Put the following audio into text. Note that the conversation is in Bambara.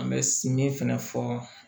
An bɛ si min fɛnɛ fɔ